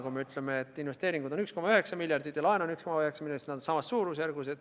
Kui me ütleme, et investeeringuid on 1,9 miljardit ja laenu on 1,9 miljardit, siis nad on samas suurusjärgus.